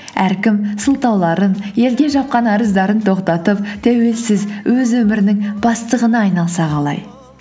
әркім сылтауларын елге жапқан арыздарын тоқтатып тәуелсіз өз өмірінің бастығына айналса қалай